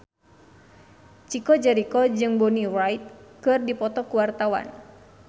Chico Jericho jeung Bonnie Wright keur dipoto ku wartawan